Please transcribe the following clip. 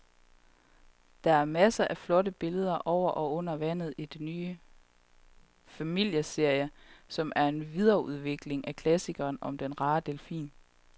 Der er masser af flotte billeder over og under vandet i den nye familieserie, som er en videreudvikling af klassikeren om den rare delfin.